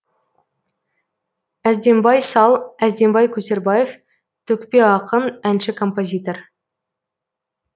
әздембай сал әздембай көтербаев төкпе ақын әнші композитор